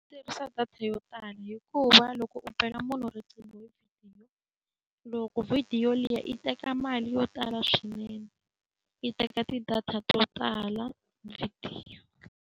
Ku tirhisa data yo tala hikuva loko u bela munhu riqingho hi vhidiyo, loko vhidiyo liya yi teka mali yo tala swinene. Yi teka ti-data to tala vhidiyo.